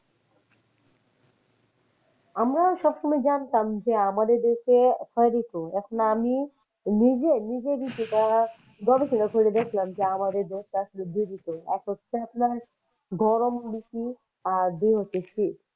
আমরা সবসময় জানতাম যে আমাদের দেশে ছয় ঋতু এখন আমি নিজে নিজেরই যেটা গবেষণা করে দেখলাম যে আমাদের দেশটা আসলে দুই ঋতু এক হচ্ছে আপনার গরম ঋতু আর দুই হচ্ছে শীত।